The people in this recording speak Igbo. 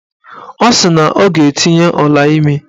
Ọ sị na ọ ga-etinye ọlaimi